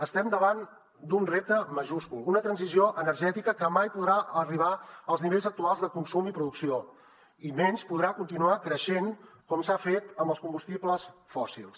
estem davant d’un repte majúscul una transició energètica que mai podrà arribar als nivells actuals de consum i producció i menys podrà continuar creixent com s’ha fet amb els combustibles fòssils